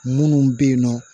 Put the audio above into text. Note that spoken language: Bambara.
Munnu be yen nɔ